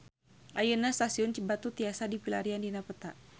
Ayeuna Stasiun Cibatu tiasa dipilarian dina peta